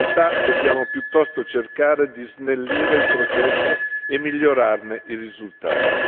In realtà, dobbiamo piuttosto cercare di snellire il processo e migliorarne i risultati.